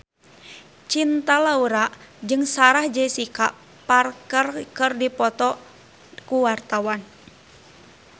Cinta Laura jeung Sarah Jessica Parker keur dipoto ku wartawan